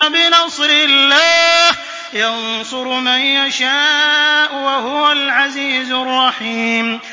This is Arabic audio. بِنَصْرِ اللَّهِ ۚ يَنصُرُ مَن يَشَاءُ ۖ وَهُوَ الْعَزِيزُ الرَّحِيمُ